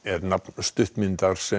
stuttmyndin